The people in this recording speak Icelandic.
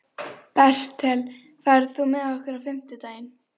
Ég var nú ekki að kaupa af þér kossa.